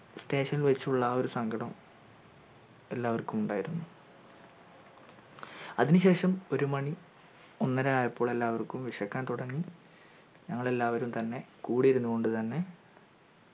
staion വെച്ചുള്ള ആ ഒരു സങ്കടം എല്ലാവർക്കും ഉണ്ടായിരുന്നു അതിന് ശേഷം ഒരുമണി ഒന്നര ആയപ്പോ എല്ലാവർക്കും വിശക്കാൻ തുടങ്ങി ഞങ്ങൾ എല്ലാവരും തെന്നെ കൂടെയിരുന്നു കൊണ്ട് തന്നെ